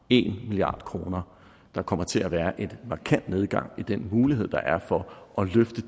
en milliard kroner der kommer til at være en markant nedgang i den mulighed der er for at løfte